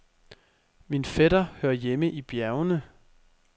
Min fætter hører hjemme i bjergene.